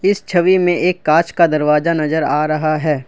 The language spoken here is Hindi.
इस छवि में एक कांच का दरवाजा नजर आ रहा है।